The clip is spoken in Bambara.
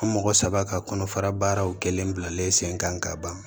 An mɔgɔ saba ka kɔnɔfara baaraw kelen bilalen sen kan ka ban